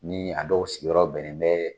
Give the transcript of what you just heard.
Ni a dɔw sigiyɔrɔ bɛnnen bɛ